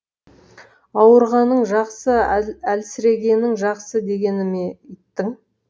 ауырғаның жақсы әлсірегенің жақсы дегені ме иттің